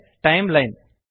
ಇದೇ ಟೈಂಲೈನ್